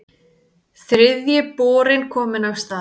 Þriðji borinn kominn af stað